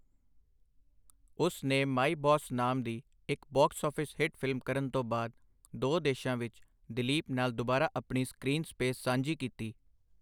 ਉਸ ਨੇ 'my boss' ਨਾਮ ਦੀ ਇੱਕ ਬਾਕਸ ਆਫ਼ਿਸ ਹਿੱਟ ਫ਼ਿਲਮ ਕਰਨ ਤੋਂ ਬਾਅਦ ਦੋ ਦੇਸ਼ਾਂ ਵਿੱਚ ਦਿਲੀਪ ਨਾਲ ਦੁਬਾਰਾ ਆਪਣੀ ਸਕ੍ਰੀਨ ਸਪੇਸ ਸਾਂਝੀ ਕੀਤੀ।